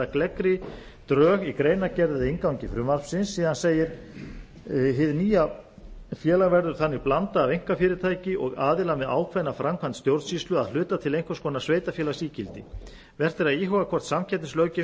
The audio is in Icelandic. gleggri drög í greinargerð eða inngangi frumvarpsins síðan segir hið nýja félag verður þannig blanda af einkafyrirtæki og aðila með ákveðna framkvæmd stjórnsýslu að hluta til einhvers konar sveitarfélagsígildi vert er að íhuga hvort samkeppnislöggjöfin